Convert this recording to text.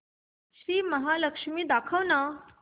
श्री महालक्ष्मी दाखव ना